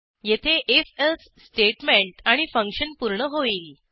येथे if else statement आणि function पूर्ण होईल